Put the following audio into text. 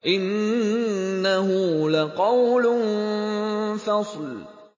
إِنَّهُ لَقَوْلٌ فَصْلٌ